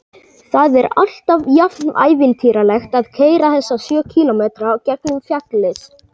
Það er alltaf jafnævintýralegt að keyra þessa sjö kílómetra gegnum fjallið.